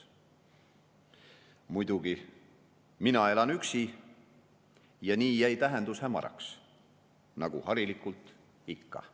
// muidugi, mina elan üksi, ja nii / jäi tähendus / hämaraks // nagu harilikult / ikka.